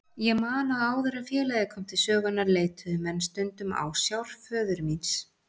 Ég man að áður en félagið kom til sögunnar leituðu menn stundum ásjár föður míns.